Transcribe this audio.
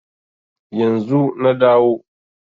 Yanzu na dawo